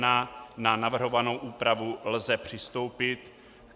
Na navrhovanou úpravu lze přistoupit.